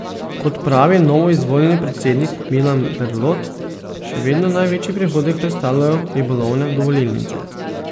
Kot pravi novoizvoljeni predsednik Milan Berlot, še vedno največji prihodek predstavljajo ribolovne dovolilnice.